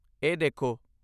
ਇਹ ਦੇਖੋ।